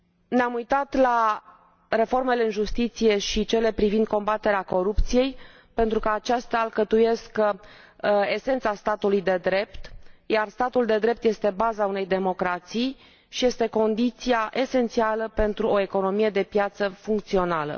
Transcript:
Ne am uitat la reformele în justiție și cele privind combaterea corupției, pentru că acestea alcătuiesc esența statului de drept, iar statul de drept este baza unei democrații și este condiția esențială pentru o economie de piață funcțională.